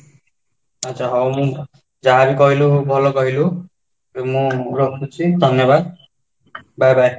ଆଚ୍ଛା, ହଉ ମୁଁ ଯାହା ବି କହିଲୁ ଭଲ କହିଲୁ ମୁଁ ଧନ୍ୟବାଦ bye bye